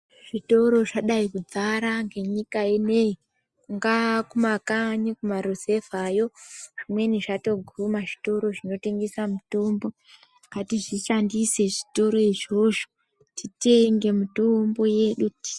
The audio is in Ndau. Zvitoro zvadai kudzara nenyika inei mukanyi mumaruzevayo zvimweni zvatoguma zvitoro zvinotengesa mitombo ngatizvishandise zvitoro izvozvo titenge mitombo yedu.